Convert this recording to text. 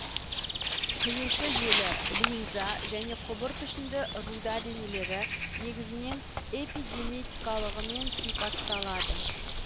қиюшы желі линза және құбыр пішінді руда денелері негізінен эпигенетикалығымен сипатталады